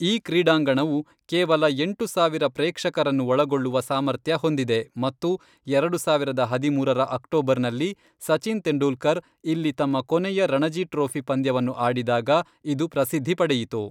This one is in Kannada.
ಈ ಕ್ರೀಡಾಂಗಣವು ಕೇವಲ ಎಂಟು ಸಾವಿರ ಪ್ರೇಕ್ಷಕರನ್ನು ಒಳಗೊಳ್ಳುವ ಸಾಮರ್ಥ್ಯ ಹೊಂದಿದೆ ಮತ್ತು ಎರಡು ಸಾವಿರದ ಹದಿಮೂರರ ಅಕ್ಟೋಬರ್ನಲ್ಲಿ ಸಚಿನ್ ತೆಂಡೂಲ್ಕರ್ ಇಲ್ಲಿ ತಮ್ಮ ಕೊನೆಯ ರಣಜಿ ಟ್ರೋಫಿ ಪಂದ್ಯವನ್ನು ಆಡಿದಾಗ ಇದು ಪ್ರಸಿದ್ಧಿ ಪಡೆಯಿತು.